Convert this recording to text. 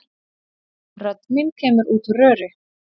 Rödd mín kemur út úr röri.